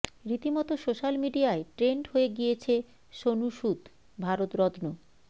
রীতিমতো সোশ্যাল মিডিয়ায় ট্রেন্ড হয়ে গিয়েছে সোনু সুদ ভারতরত্ন